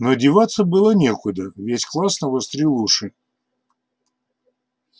но деваться было некуда весь класс навострил уши